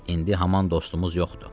İndi haman dostumuz yoxdur.